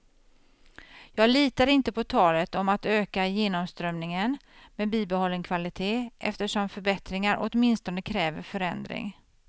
Jag litar inte på talet om att öka genomströmningen med bibehållen kvalitet, eftersom förbättringar åtminstone kräver förändring.